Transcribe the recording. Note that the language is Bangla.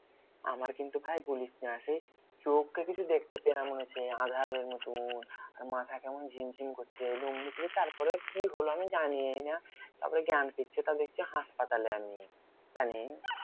আমার কিন্তু ভাই বলিস না, সেই চোখে কিছু দেখতে পেলাম মনে হচ্ছে আঁধারের মতো, মাথা কেমন ঝিম ঝিম করছে, তারপরে কি হলো আমি জানিই না। তারপরে জ্ঞান ফিরছে তা দেখছি হাসপাতালে আমি, জানিস্?